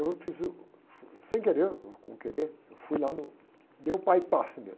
E eu fiz o... Sem querer, ou com querer, eu fui lá no... Dei o mesmo.